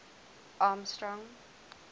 armstrong